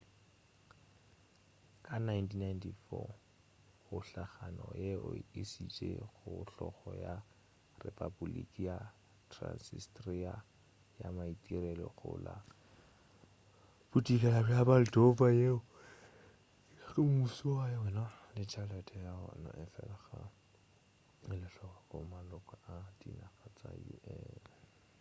ka 1994 kgohlagano ye e išitše go hlolo ya repaboliki ya transnistria ya maitirelo go la bodikela bja moldova yeo e nago le mmušo wa yona le tšhelete ya wona efela ga e elwehloko ke maloko a dinaga tša un